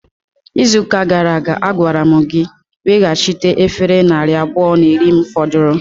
Izuụka gara aga, agwara m gị ị weghachite efere narị abụọ na iri m fọdụrụ!